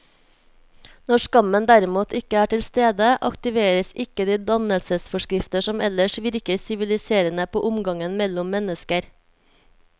Når skammen derimot ikke er til stede, aktiveres ikke de dannelsesforskrifter som ellers virker siviliserende på omgangen mellom mennesker.